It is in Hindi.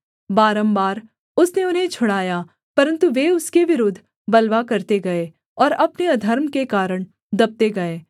बारम्बार उसने उन्हें छुड़ाया परन्तु वे उसके विरुद्ध बलवा करते गए और अपने अधर्म के कारण दबते गए